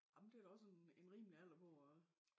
Ej men det da også en en rimelig alder på at